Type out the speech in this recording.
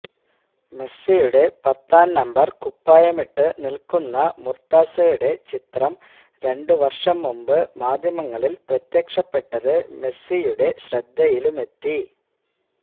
മെസ്സിയുടെ പത്താം നമ്പര് കുപ്പായമിട്ടു നില്ക്കുന്ന മുര്ത്താസയുടെ ചിത്രം രണ്ട് വര്ഷം മുമ്പ് മാധ്യമങ്ങളില് പ്രത്യക്ഷപ്പെട്ടത് മെസ്സിയുടെ ശ്രദ്ധയിലുമെത്തി